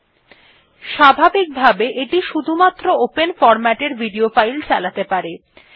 পূর্বনির্ধারিতভাবে এটি শুধুমাত্র open format এর ভিডিও ফাইল চালাতে পারে